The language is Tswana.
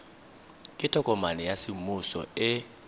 ke tokomane ya semmuso e